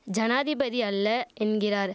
ஜனாதிபதி அல்ல என்கிறார்